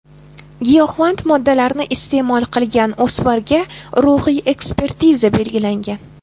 Giyohvand moddalarni iste’mol qilgan o‘smirga ruhiy ekspertiza belgilangan.